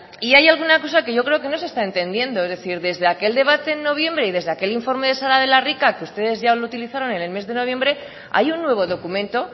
y hay alguna cosa que yo creo que no se está entendiendo es decir desde aquel debate en noviembre y desde aquel informe de sara de la rica que ustedes ya lo utilizaron en el mes de noviembre hay un nuevo documento